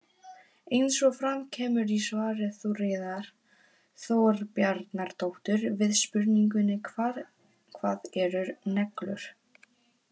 Eins og fram kemur í svari Þuríðar Þorbjarnardóttur við spurningunni Hvað eru neglur?